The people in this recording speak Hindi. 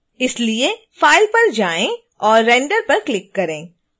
इसके लिए file पर जाएं और render पर क्लिक करें